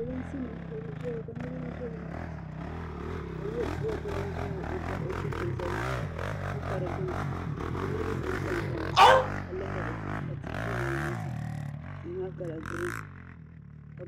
P,olinsi nima kabizaya. ka nirb za nimaani, ka yuu' got. lan zaŋ o cheche zali ka ka dignuni. ka nirib du n-tam tamya ka lihirima ka zɛ bi nyaaŋa tihi maa kala green ka